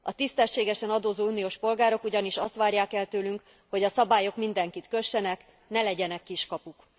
A tisztességesen adózó uniós polgárok ugyanis azt várják el tőlünk, hogy a szabályok mindenkit kössenek, ne legyenek kiskapuk.